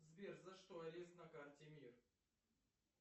сбер за что арест на карте мир